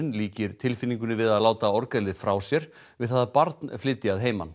líkir tilfinningunni við að láta orgelið frá sér við það að barn flytji að heiman